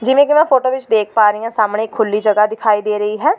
ਜਿਵੇਂ ਕਿ ਮੈਂ ਫੋਟੋ ਵਿਚ ਦੇਖ ਪਾ ਰਹੀਂ ਹਾਂ ਸਾਹਮਣੇ ਇੱਕ ਖੁਲ੍ਹੀ ਜਗ੍ਹਾ ਦਿਖਾਈ ਦੇ ਰਹੀ ਹੈ।